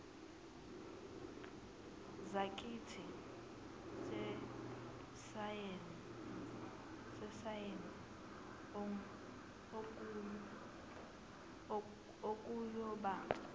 zakithi zesayense okuyoba